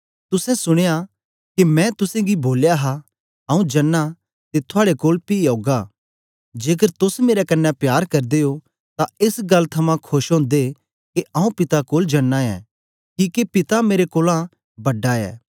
तुसें सुनया के मैं तुसेंगी बोलया हा आऊँ जना ते थुआड़े कोल पी औगा जेकर तोस मेरे कन्ने प्यार करदे ओ तां एस गल्ल थमां खोश ओदे के आऊँ पिता कोल जा नां ऐं किके पिता मेरे कोलां बड़ा ऐ